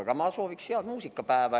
Aga ma soovin siis head muusikapäeva.